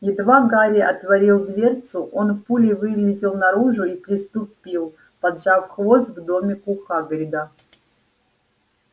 едва гарри отворил дверцу он пулей вылетел наружу и приступил поджав хвост к домику хагрида